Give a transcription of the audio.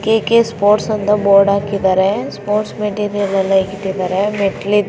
KK sports ಅಂತ board ಹಾಕಿದರೆ sports material ಎಲ್ಲಾ ಇಟ್ಟಿದ್ದಾರೆ.